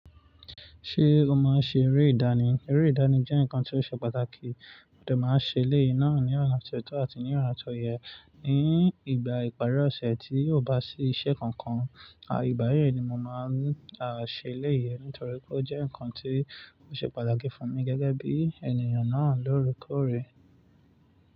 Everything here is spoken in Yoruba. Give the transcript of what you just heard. Ṣé o máa ń ṣe eré ìdánì? Eré ìdánì jẹ́ nǹkan tó ṣe pàtàkì, mo de máa ń ṣe eléyìí náà ní ona tó àti ní ona to yẹn. Ni ìgbà ìparí ọ̀sẹ̀ tí ó bá sí iṣẹ́ kankan, àì ìbà yẹn ni mo máa ń ṣe eléyìí nítorí pé ó jẹ́ nǹkan tó ṣe pàtàkì fún mi gẹ́gẹ́ bí ènìyàn náà lóore kóòrè.